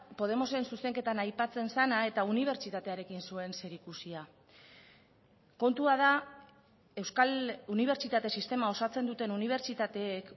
podemosen zuzenketan aipatzen zena eta unibertsitatearekin zuen zerikusia kontua da euskal unibertsitate sistema osatzen duten unibertsitateek